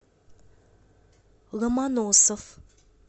ломоносов